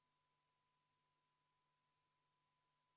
Tulemusega poolt 47, vastu 1, erapooletuid ei ole, leidis ettepanek toetust.